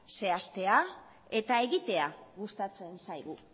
zehaztea eta egitea gustatzen zaigu